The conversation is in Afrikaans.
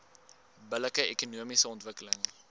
billike ekonomiese ontwikkeling